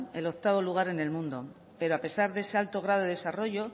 el octavo lugar en el mundo pero a pesar de ese alto grado de desarrollo